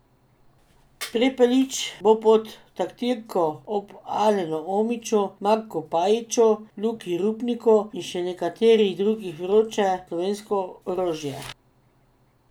Prepelič bo pod taktirko ob Alenu Omiću, Marku Pajiću, Luki Rupniku in še nekaterih drugih vroče slovensko orožje.